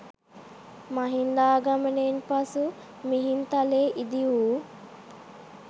මහින්දාගමනයෙන් පසු මිහින්තලේ ඉදි වූ